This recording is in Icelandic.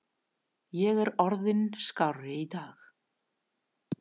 Ég er orðinn skárri í dag.